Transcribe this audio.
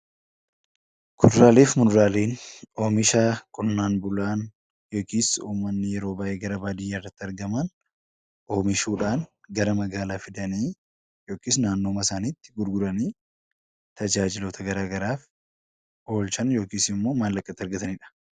Kuduraalee fi muduraalee Oomisha qonnaan bulaan yookiis uummanni yeroo baayyee gara baadiyyaa irratti argaman oomishuudhaan gara magaalaa fidanii yookiis naannoodhuma isaaniitti gurguranii tajaajiloota garaagaraaf oolchan yookaan maallaqa itti argatanidha.